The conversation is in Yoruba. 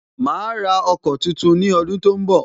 Ma ra ọkọ̀ tuntun ni ọdun tó ń bọ̀